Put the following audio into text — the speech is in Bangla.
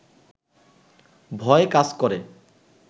ভয় কাজ করে